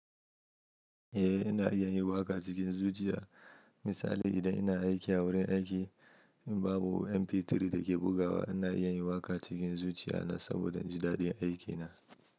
Eh ina iya yin waƙa cikin zuciya. Misali idan ina aiki a wurin aiki, in babu MP3 da ke bugawa ina iya yin waƙa cikin zuciya na saboda inji dadi a aikina.